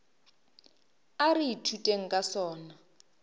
a re ithuteng ka sona